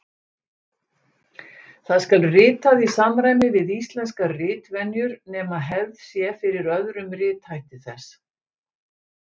Það skal ritað í samræmi við íslenskar ritvenjur nema hefð sé fyrir öðrum rithætti þess.